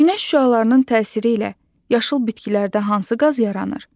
Günəş şüalarının təsiri ilə yaşıl bitkilərdə hansı qaz yaranır?